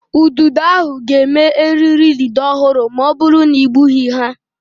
Ududo ahụ ga-eme eriri idide ọhụrụ ma ọ bụrụ na egbughị ha.